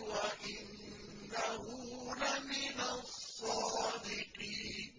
وَإِنَّهُ لَمِنَ الصَّادِقِينَ